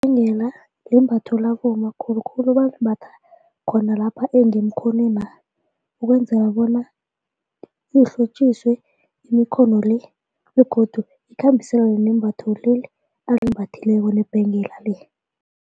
Ibhengela limbatho labomma khulukhulu balimbatha khona lapha emkhonwena ukwenzela bona kuhlotjiswe imikhono le begodu ikhambiselane nembatho leli alimbathileko nebhengela leli.